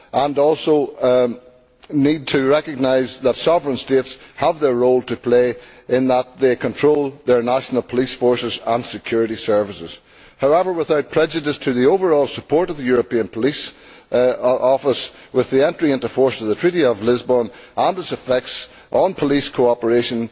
We also need to recognise that sovereign states have their role to play in that they control their national police forces and security services. However, without prejudice to the overall support of the European Police Office, with the entry into force of the Treaty of Lisbon and its effects on police cooperation,